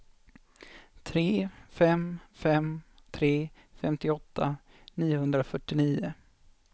tre fem fem tre femtioåtta niohundrafyrtionio